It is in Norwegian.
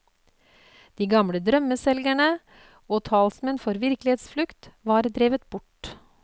De gamle drømmeselgerne og talsmenn for virkelighetsflukt var drevet bort.